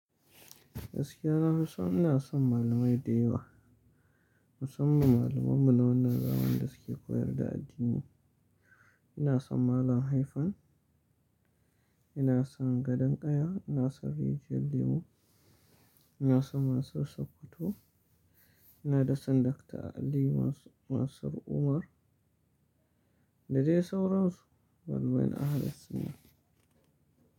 Gaskiya nafi son ina son malamai da yawa. Musamman malaman mu nawa na zamani da suke koyar da addini. Ina son Malam Haifan, ina son Gadan Ƙaya, ina son Rijiyalu Limu, ina son Mansir Sokoto, ina da sanin Dr. Ali Mansir Umar. Da dai sauransu, malamen ahalil suna.